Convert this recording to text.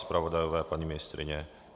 Zpravodajové, paní ministryně?